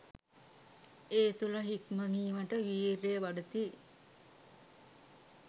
ඒ තුළ හික්මීමට වීර්යය වඩති.